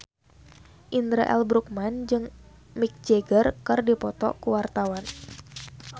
Indra L. Bruggman jeung Mick Jagger keur dipoto ku wartawan